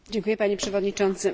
Panie Przewodniczący!